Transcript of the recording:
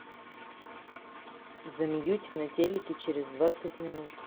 замьють на телике через двадцать минут